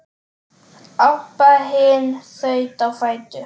Abba hin þaut á fætur.